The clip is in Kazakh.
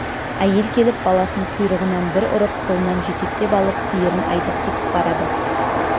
әйел келіп баласын құйрығынан бір ұрып қолынан жетектеп алып сиырын айдап кетіп барады